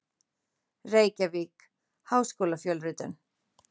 Reykjavík: Háskólafjölritun.